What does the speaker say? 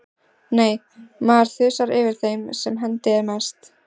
Nei, maður þusar yfir þeim sem hendi er næst.